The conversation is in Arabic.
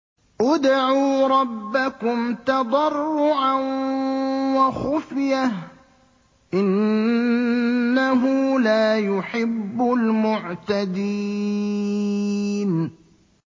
ادْعُوا رَبَّكُمْ تَضَرُّعًا وَخُفْيَةً ۚ إِنَّهُ لَا يُحِبُّ الْمُعْتَدِينَ